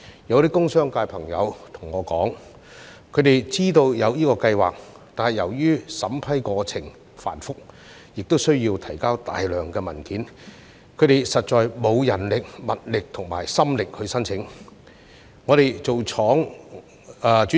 有些工商界朋友對我說，他們知道有這個計劃，但由於審批過程繁複，亦需要提交大量文件，他們實在沒有人力、物力及心力申請。